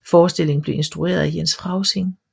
Forestillingen blev instrueret af Jens Frausing